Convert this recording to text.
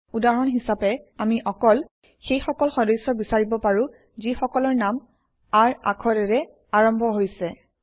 উদাহৰণ হিচাপে আমি অকল সেই সকল সদস্য বিচাৰিব পাৰোঁ যিসকলৰ নাম R আখৰেৰে আৰম্ভ হৈছে